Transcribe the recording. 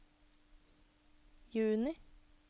juni